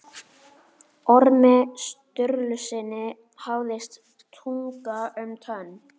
Ormi Sturlusyni vafðist tunga um tönn.